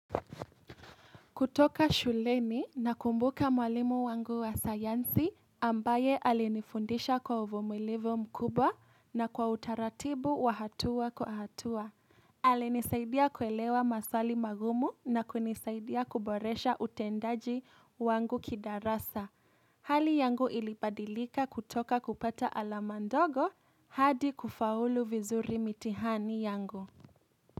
Kutoka shuleni nakumbuka mwalimu wangu wa sayansi, ambaye alinifundisha kwa uvumilivu mkubwa na kwa utaratibu wa hatua kwa hatua. Alinisaidia kuelewa maswali magumu na kunisaidia kuboresha utendaji wangu kidarasa. Hali yangu ilibadilika kutoka kupata alama ndogo hadi kufaulu vizuri mitihani yangu.